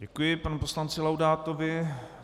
Děkuji panu poslanci Laudátovi.